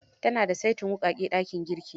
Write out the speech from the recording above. Ta na da saitin wuƙaƙen dakin girki.